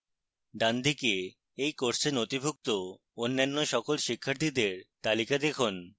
ডানদিকে এই course নথিভুক্ত অন্যান্য সকল শিক্ষার্থীদের তালিকা দেখুন